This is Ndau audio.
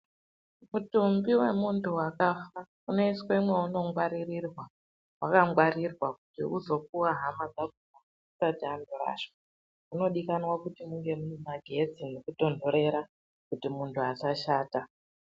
Mutumbi womunfu wakafa unoiswe mawunongwaririrwa wakangwarirwa kuti uzondopiwa hama dzakona vazondorasha zvinodikana kuti munge muine magetsi nekutonhorera kuti .undu asashata.